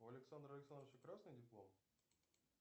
у александра александровича красный диплом